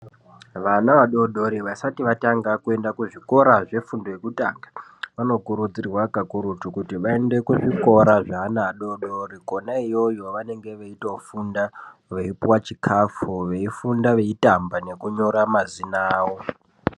Vana vadodori vasati vatanga kuenda kuzvikora zvefundo yekutanga, vanokurudzirwa kakurutu kuti vaende kuzvikora zve ana adodori kona yoyo vanenge veyitofunda, veyipuwa chikafu, veyifunda veyitamba nekunyora mazina awo.